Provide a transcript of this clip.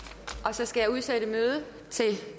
så skal jeg udsætte mødet til